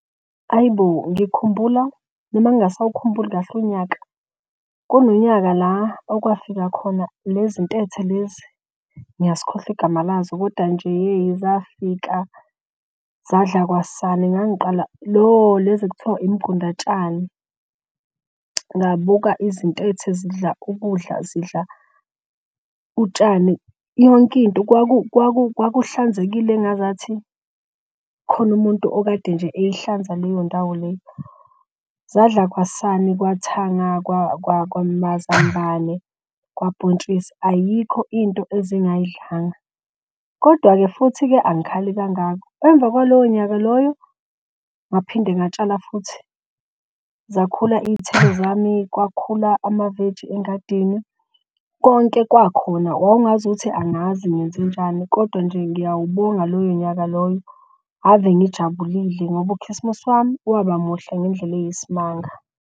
Ayi bo! Ngikhumbula noma ngingasawukhumbuli kahle unyaka. Kunonyaka la okwafika khona lezi ntethe lezi ngiyazikhohlwa igama lazo koda nje yey zafika zadla kwasani. Lezi okwakuthiwa imigundatshani ngabuka izintethe zidla ukudla, zidla utshani yonke into. Kwakuhlanzekile engazathi khona umuntu okade nje eyihlanza leyo ndawo leyo. Zadla kwasani kwathanga, kwamazambane, kwabhontshisi, ayikho into ezingayidlanga. Kodwa-ke futhi-ke angikhali kangako, emva kwaloyo nyaka loyo ngaphinde ngatshala futhi zakhula iy'thelo zami kwakhula amaveji engadini, konke kwakhona. Wawungaze uthi angazi ngenzenjani kodwa nje ngiyawubonga loyo nyaka loyo ave ngijabulile ngoba ukhisimusi wami waba muhle ngendlela eyisimanga.